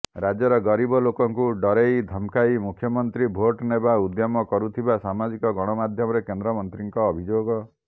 ରାଜ୍ୟର ଗରିବ ଲୋକଙ୍କୁ ଡରେଇ ଧମକାଇ ମୁଖ୍ୟମନ୍ତ୍ରୀ ଭୋଟ ନେବା ଉଦ୍ୟମ କରୁଥିବା ସାମାଜିକ ଗଣମାଧ୍ୟମରେ କେନ୍ଦ୍ରମନ୍ତ୍ରୀଙ୍କ ଅଭିଯୋଗ